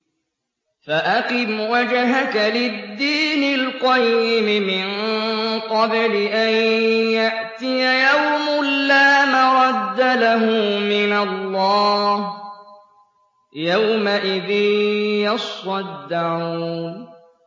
فَأَقِمْ وَجْهَكَ لِلدِّينِ الْقَيِّمِ مِن قَبْلِ أَن يَأْتِيَ يَوْمٌ لَّا مَرَدَّ لَهُ مِنَ اللَّهِ ۖ يَوْمَئِذٍ يَصَّدَّعُونَ